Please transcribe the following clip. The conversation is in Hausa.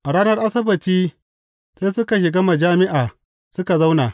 A ranar Asabbaci sai suka shiga majami’a suka zauna.